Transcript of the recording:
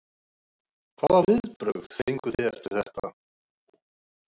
Hvaða viðbrögð fenguð þið eftir þetta?